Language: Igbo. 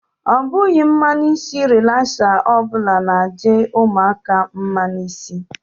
Ọ bughi mmanụ isi relasa ọbụla na-adi ụmụaka mma n'isi.